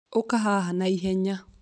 Ũka haha na ihenya